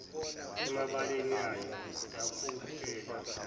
emabeleni yaye yakopela